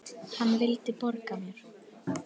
Hann vildi borga mér!